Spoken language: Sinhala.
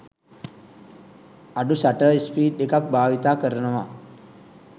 අඩු ෂටර් ස්පීඞ් එකක් භාවිත කරනවා.